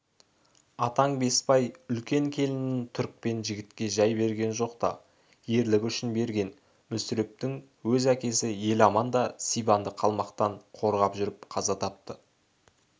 атаң беспай үлкен келінін түрікпен жігітке жай берген жоқ та ерлігі үшін берген мүсірептің өз әкесі еламан да сибанды қалмақтан қорғап жүріп қаза тапты